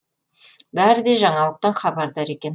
бәрі де жаңалықтан хабардар екен